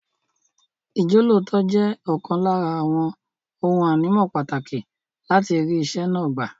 Ìjọ́lóòótọ́ jẹ́ ọ̀kan lára àwọn ohun ànímọ́ pàtàkì láti rí iṣẹ́ náà gbà.